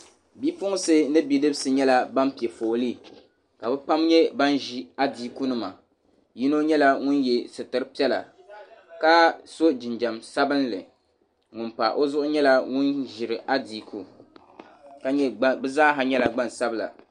Bi'puɣinsi ni bi'dibisi nyɛla ban pe foolii ka bɛ pam nyɛ ban ʒi adiikunima yino nyɛla ŋun ye sitiri piɛla ka so jinjam sabinli ŋun pa o zuɣu nyɛla ŋun ʒiri adiiku bɛ zaa ha nyɛla gbansabila.